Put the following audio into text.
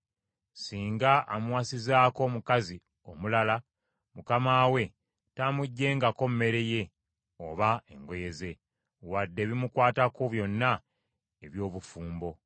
Singa amuwasizaako omukazi omulala, mukama we taamuggyengako mmere ye oba engoye ze, wadde ebimukwatako byonna eby’obufumbo.